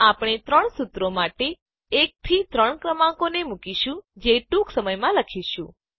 આપણે ત્રણ સુત્રો માટે 1 થી 3 ક્રમાંકોને મુકીશું જે ટૂંક સમયમાં લખીશું